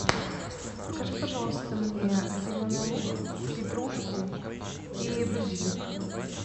закажи пожалуйста мне зеленый лук петрушку и базилик